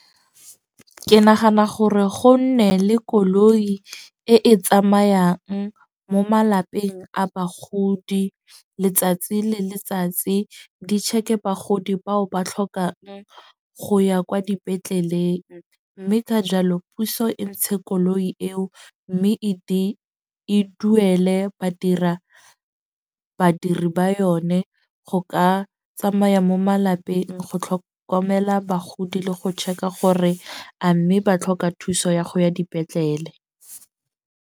Ke nagana gore go nne le koloi e e tsamayang mo malapeng a bagodi letsatsi le letsatsi. Di check-e bagodi bao ba tlhokang go ya kwa dipetleleng. Mme ka jalo puso e ntshe koloi eo. Mme e e duele badira, badiri ba yone go ka tsamaya mo malapeng go tlhokomela bagodi le go check-a gore a mme ba tlhoka thuso ya go ya dipetlele.